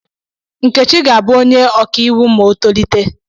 Nkechi ga-abụ onye ọkaiwu ma o tolite.